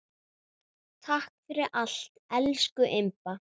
Takk fyrir allt, elsku Imba.